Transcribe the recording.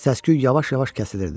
Səsküy yavaş-yavaş kəsilirdi.